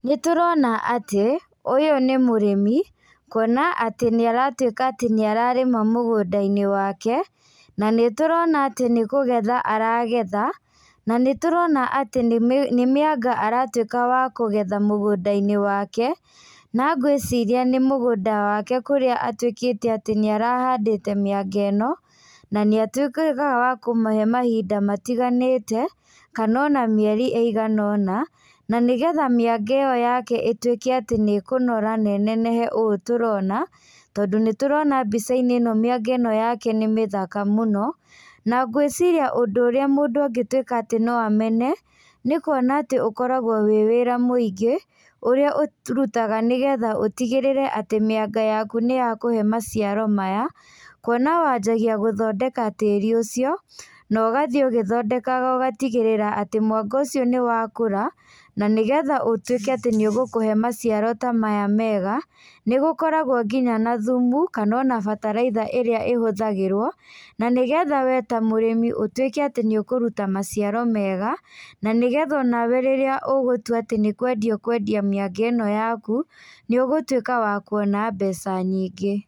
Nĩtũrona atĩ, ũyũ nĩ mũrĩmi, kuona atĩ nĩ arĩtuĩka atĩ nĩararĩma mũgũndainĩ wake, na nĩtũrona atĩ nĩkũgetha aragetha, na nĩtũrona atĩ nĩmĩ nĩmĩanga aratuĩka wa kũgetha mũgũndainĩ wake, na ngwĩciria nĩ mũgũnda wake kũrĩa atuĩkĩte atĩ nĩarahandĩte mĩanga ĩno, na nĩatuĩkaga wa kũmahe mahinda matiganĩte, kana ona mĩeri ĩigana ũna, na nĩgetha mĩanga ĩyo yake ĩtuĩke atĩ nĩkũnora na ĩnenehe ũũ tũrona, tondũ nĩtũrona mbicainĩ ĩno mĩanga ĩno yake nĩ mĩthaka mũno, na ngwĩciria ũndũ ũrĩa mũndũ angĩtuĩka no amene, nĩkuona atĩ ũkoragwo wĩ wĩra mũingĩ, ũrĩa ũrutaga nĩgetha ũtigĩrĩre atĩ mĩanga yaku nĩyakũhe maciaro maya, kuona wanjagia gũthondeka tĩri ũcio, na ũgathiĩ ũgĩthondekaga ũgatigĩrĩra atĩ mwanga ũcio nĩwakũra, na nĩgetha ũtuĩke atĩ nĩũgũkũhe maciaro ta maya mega, nĩgũkoragwo nginya na thumu, kana ona bataraitha ĩrĩa ĩhũthagĩrwo, na nĩgetha we ta mũrĩmi ũtuĩke atĩ nĩũkũruta maciaro mega, na nĩgetha ona we rĩrĩa ũgũtua atĩ nĩkwendia ũkwendia mĩanga ĩno yaku, nĩũgũtuĩka wa kuona mbeca nyingĩ.